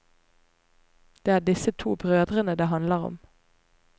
Det er disse to brødrene det handler om.